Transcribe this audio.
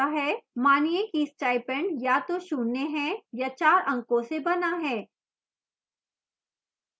मानिए कि stipend या तो शून्य है या चार अंकों से बना है